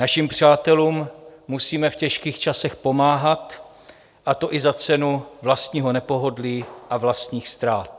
Našim přátelům musíme v těžkých časech pomáhat, a to i za cenu vlastního nepohodlí a vlastních ztrát.